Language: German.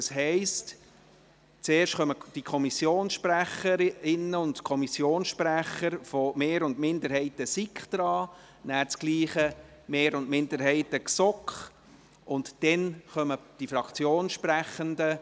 Das heisst: Als Erstes sind die Kommissionssprecherinnen und Kommissionssprecher der Mehr- und Minderheiten der SiK an der Reihe, dann dasselbe mit den Mehr- und Minderheiten der GSoK. Darauf folgen die Fraktionssprechenden.